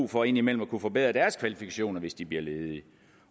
for indimellem at kunne forbedre deres kvalifikationer hvis de bliver ledige